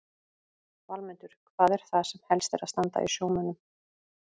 Valmundur, hvað er það sem helst er að standa í sjómönnum?